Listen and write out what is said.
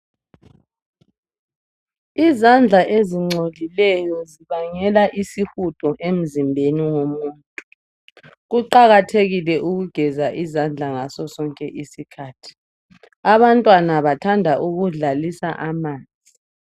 Izandla ezingcolileyo zibangela isihudo emzimbeni womuntu. Kuqakathekile ukugeza izandla ngaso sonke isikhathi amabantwana bathanda ukudlalisa amanzi.